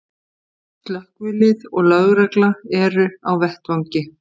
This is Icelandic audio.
Slökkvilið og lögregla eru á vettvangi